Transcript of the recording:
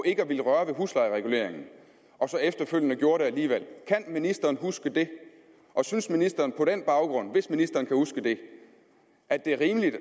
ikke at ville røre ved huslejereguleringen og så efterfølgende gjorde det alligevel kan ministeren huske det og synes ministeren på den baggrund hvis ministeren kan huske det at det er rimeligt